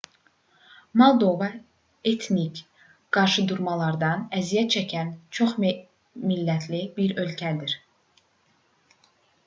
moldova etnik qarşıdurmalardan əziyyət çəkən çox-millətli bir ölkədir